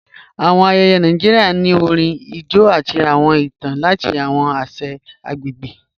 Awọn ayéyé Nàìjíríà ni orín, ijó, àti awọn ìtàn lati awọn àṣà agbegbe